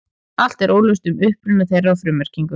Allt er óljóst um uppruna þeirra og frummerkingu.